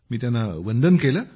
मी त्यांना वंदन केले